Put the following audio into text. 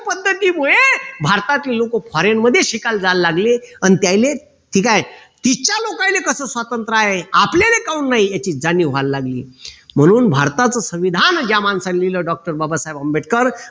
भारतातले लोक foreign मध्ये शिकायला जायला लागले अन त्यानले ठीक आहे तिथच्या लोकांना कस स्वतंत्र आहे आपल्याला काऊन नाही याची जाणीव व्हायला लागली म्हणून भारताचं संविधान या माणसाने लिहिलं doctor बाबासाहेब आंबेडकर